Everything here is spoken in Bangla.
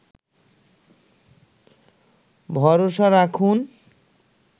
ভরসা রাখুন